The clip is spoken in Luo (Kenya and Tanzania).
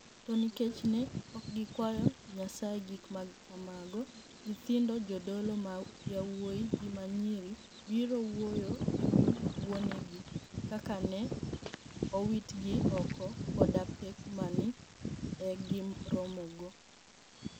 To niikech ni e ok gikwayo niyasaye gik ma kamago niyithinid jodolo ma yawuowi gi ma niyiri biro wuoyo e wi wuoni egi, kaka ni e owitgi oko, koda pek ma ni e giromogo.